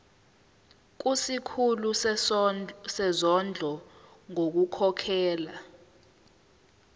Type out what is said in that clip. kusikhulu sezondlo ngokukhokhela